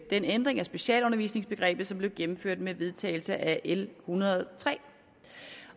ændring af specialundervisningsbegrebet som blev gennemført med vedtagelsen af l ethundrede